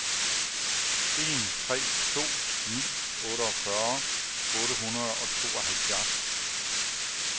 en tre to ni otteogfyrre otte hundrede og tooghalvfjerds